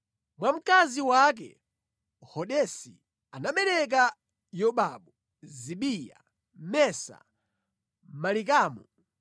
Mwa mkazi wake Hodesi anabereka Yobabu, Zibiya, Mesa, Malikamu,